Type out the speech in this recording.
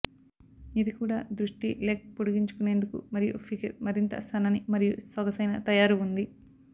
ఇది కూడా దృష్టి లెగ్ పొడిగించుకునేందుకు మరియు ఫిగర్ మరింత సన్నని మరియు సొగసైన తయారు ఉంది